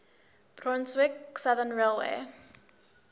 brunswick southern railway